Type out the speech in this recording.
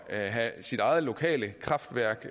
at have sit eget lokale kraftværk